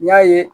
N y'a ye